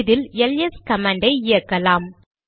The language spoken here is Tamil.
இதில் எல்எஸ் கமாண்டை இயக்கலாம்